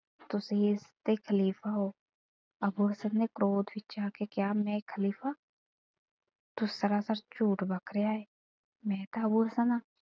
ਤੁਸੀਂ ਇੱਸ ਤੇ ਖ਼ਲੀਫ਼ਾ ਹੋ। ਅੱਬੂ ਹਸਨ ਨੇ ਕ੍ਰੋਧ ਵਿੱਚ ਆ ਕੇ ਕਿਹਾ, ਮੈਂ ਖ਼ਲੀਫਾ ਤੂੰ ਸਰਾਸਰ ਝੂਠ ਬੱਕ ਰਿਹਾ ਏਂ। ਮੈਂ ਤਾਂ ਅੱਬੂ ਹਸਨ ਆ।